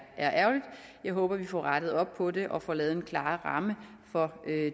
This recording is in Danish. ærgerligt jeg håber vi får rettet op på det og får lavet en klarere ramme for